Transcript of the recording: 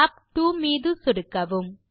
tab 2 மீது சொடுக்கவும்